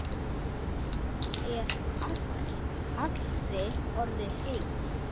Er allri orðið heitt.